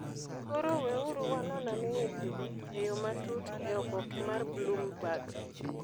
(Koro weuru wanon ane wechego e yo matut e oboke mar Bloomberg.)